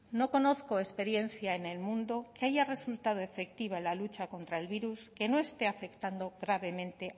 no conozco experiencia en el mundo que haya resultado efectiva en la lucha contra el virus que no esté afectando gravemente